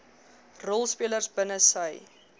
rolspelers binne sy